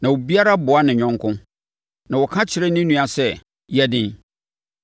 na obiara boa ne yɔnko na ɔka kyerɛ ne nua sɛ, “Yɛ den!”